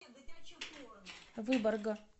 выборга